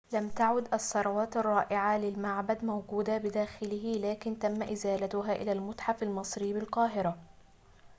لم تعد الثروات الرائعة للمعبد موجودة بداخله لكن تم إزالتها إلى المتحف المصري بالقاهرة